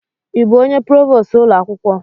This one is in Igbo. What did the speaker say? Ị bụ onye provost ụlọ akwụkwọ?